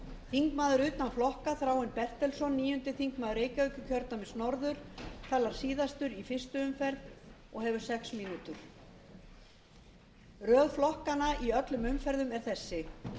þingmaður utan flokka þráinn bertelsson níundi þingmaður reykjavíkurkjördæmis norður talar síðastur í fyrstu umferð og hefur sex mínútur röð flokkanna í öllum umferðum er þessi